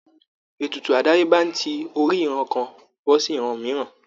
Ètùtù àdáyébá ń ti orí ìran kan bọ́ sí ìran mìíràn